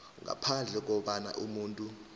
ngaphandle kobana umuntu